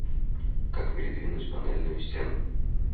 как передвинуть панельную стену